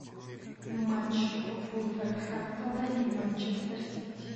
матч вулверхэмптона и манчестер сити